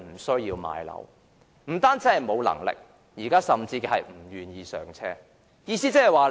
市民無能力置業之餘，現時甚至不願意"上車"。